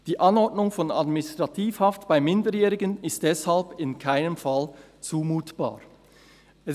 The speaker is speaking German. Die Anordnung von Administrativhaft bei Minderjährigen ist deshalb in keinem Fall zumutbar […]»